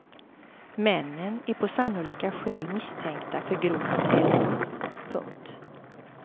Männen är på sannolika skäl misstänkta för grovt häleri. punkt